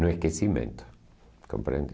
No esquecimento, compreende?